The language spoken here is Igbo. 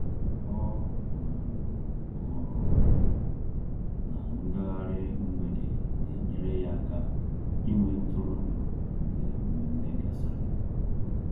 Ọ um hụrụ na ngaghari mgbede na-enyere ya aka ịnwe ntụrụndụ mgbe mmemme gasịrị.